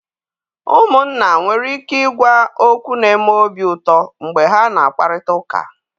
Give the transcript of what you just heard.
Ụmụnna nwere ike ịgwa okwu n'eme obi uto mgbe ha na-akparịta ụka.